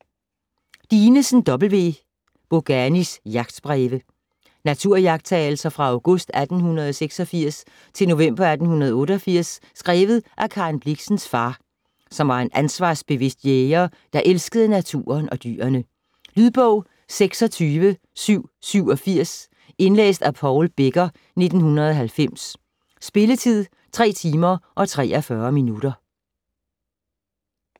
Dinesen, W.: Boganis jagtbreve Naturiagttagelser fra august 1886 til november 1888, skrevet af Karen Blixens far, som var en ansvarsbevidst jæger, der elskede naturen og dyrene. Lydbog 26787 Indlæst af Paul Becker, 1990. Spilletid: 3 timer, 43 minutter.